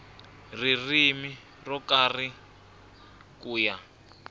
ririmi ro karhi ku ya